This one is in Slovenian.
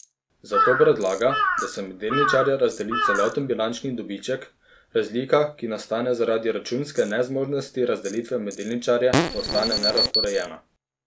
Zato predlaga, da se med delničarje razdeli celotnem bilančni dobiček, razlika, ki nastane zaradi računske nezmožnosti razdelitve med delničarje, pa ostane nerazporejena.